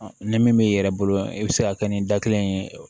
Ni min yɛrɛ bolo e bɛ se ka kɛ ni da kelen ye